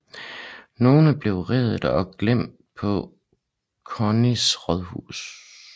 Nogle blev reddet og gemt på Clunys rådhus